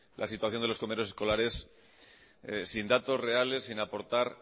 la situación de los comedores escolares sin datos reales sin aportar